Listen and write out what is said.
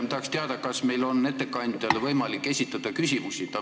Ma tahaksin teada, kas meil on võimalik ettekandjale küsimusi esitada.